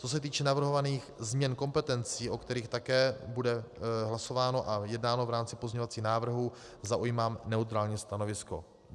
Co se týče navrhovaných změn kompetencí, o kterých také bude hlasováno a jednáno v rámci pozměňovacích návrhů, zaujímám neutrální stanovisko.